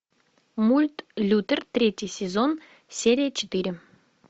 мульт лютер третий сезон серия четыре